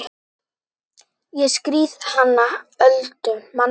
Ég skírði hana Öldu manstu.